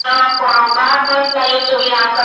યુદ્ધવિરામ કરવા